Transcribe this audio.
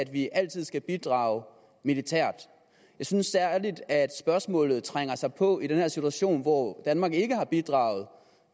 vi altid skal bidrage militært jeg synes spørgsmålet særlig trænger sig på i den her situation hvor danmark ikke har bidraget